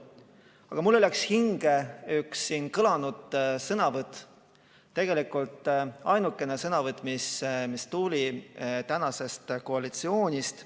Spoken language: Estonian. Aga mulle läks hinge üks siin kõlanud sõnavõtt, tegelikult ainukene sõnavõtt, mis tuli tänasest koalitsioonist.